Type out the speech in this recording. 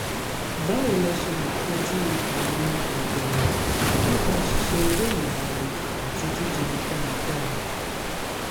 báwo la ṣe lè kojú àrùn ẹ̀dọ̀ ọ̀rá nípa ṣíṣe eré ìmárale àti jíjẹun dáadáa?